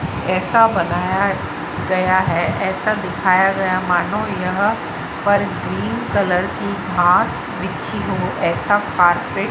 ऐसा बनाया गया है ऐसा दिखाया गया मानो यह पर ग्रीन कलर की घास बिछी हो ऐसा कार्पेट --